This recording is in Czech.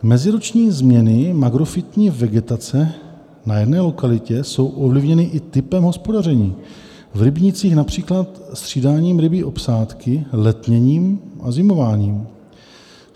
Meziroční změny makrofytní vegetace na jedné lokalitě jsou ovlivněny i typem hospodaření, v rybnících například střídáním rybí obsádky, letněním a zimováním.